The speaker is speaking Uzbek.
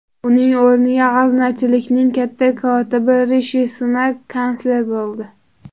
Uning o‘rniga g‘aznachilikning katta kotibi Rishi Sunak kansler bo‘ldi.